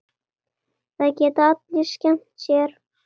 Það geta allir skemmt sér.